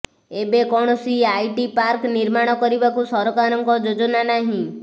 ଏବେ କୌଣସି IT park ନିର୍ମାଣ କରିବାକୁ ସରକାରଙ୍କ ଯୋଜନା ନାହିଁ